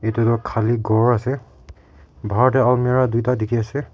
edu tu Khali khor ase bahar tae almera tuita dikhiase.